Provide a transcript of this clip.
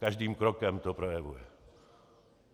Každým krokem to projevuje.